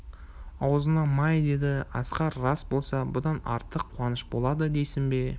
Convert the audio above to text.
аузыңа май деді асқар рас болса бұдан артық қуаныш болады дейсің бе